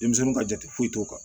Denmisɛnninw ka jate foyi t'o kan